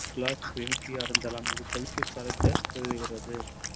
green tea அருந்தலாம். இது கொழுப்பை கரைக்க உதவுகிறது.